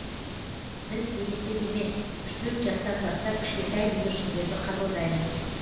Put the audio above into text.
біз ересек емес үш төрт жастан бастап кішкентай бүлдіршіндерді қабылдаймыз